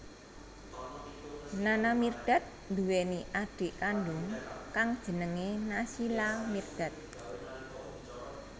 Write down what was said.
Nana Mirdad nduwèni adhik kandung kang jenengé Naysila Mirdad